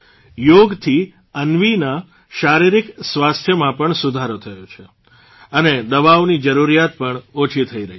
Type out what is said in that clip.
યોગથી અન્વીની શારીરિક સ્વાસ્થ્યમાં પણ સુધારો થયો છે અને દવાઓની જરૂરિયાત પણ ઓછી થઇ રહી છે